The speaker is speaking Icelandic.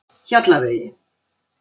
Hjallavegi